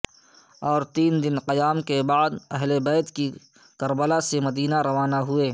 اور تین دن قیام کے بعد اہل بیت کی کربلا سے مدینے روانہ ہوئے